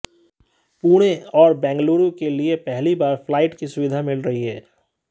पुणे और बेंगलुरू के लिए पहली बार फ्लाइट की सुविधा मिल रही है